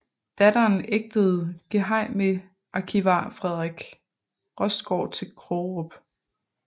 Datteren ægtede gehejmearkivar Frederik Rostgaard til Krogerup